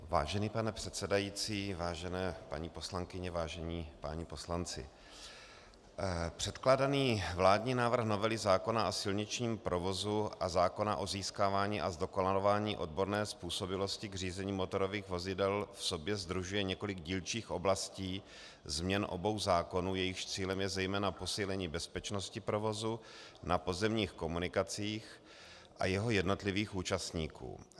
Vážený pane předsedající, vážené paní poslankyně, vážení páni poslanci, předkládaný vládní návrh novely zákona o silničním provozu a zákona o získávání a zdokonalování odborné způsobilosti k řízení motorových vozidel v sobě sdružuje několik dílčích oblastí změn obou zákonů, jejichž cílem je zejména posílení bezpečnosti provozu na pozemních komunikacích a jeho jednotlivých účastníků.